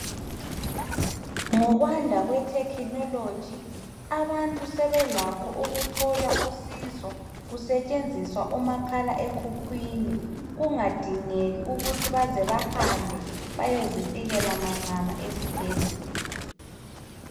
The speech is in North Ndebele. Ngokwanda kwe technology abantu sebelakho ukuthola usizo kusetshenziswa umakhala ekhukhwini kungadingeki ukuthi baze bahambe bayezifikela manqamu esibhedlela